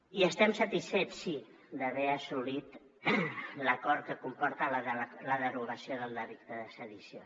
i estem satisfets sí d’haver assolit l’acord que comporta la derogació del delicte de sedició